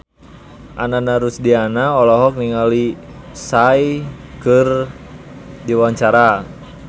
Ananda Rusdiana olohok ningali Psy keur diwawancara